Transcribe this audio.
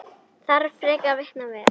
Þarf frekari vitna við?